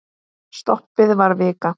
Stoppið var vika.